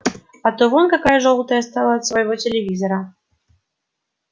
а то вон какая жёлтая стала от своего телевизора